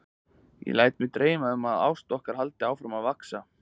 Ég læt mig dreyma um að ást okkar haldi áfram að vaxa.